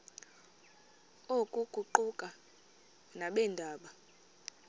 oku kuquka nabeendaba